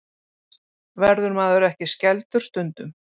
Verður maður ekki skelfdur stundum?